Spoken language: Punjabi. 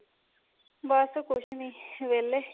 ਬੱਸ ਕੁੱਝ ਨਹੀਂ ਵਿਹਲੇ